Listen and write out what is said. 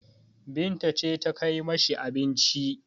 Binta ce ta kai ma shi abincin.